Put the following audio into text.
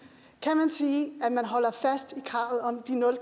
sige at man holder fast i kravet om de nul